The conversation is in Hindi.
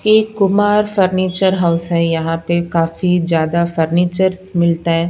एक कुमार फर्नीचर हाउस है यहां पे काफी ज्यादा फर्नीचर्स मिलता है।